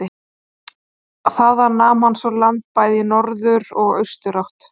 Þaðan nam hann svo land bæði í norður og austurátt.